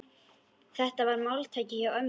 Þetta var máltæki hjá ömmu.